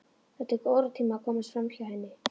Þó tekur óratíma að komast framhjá henni.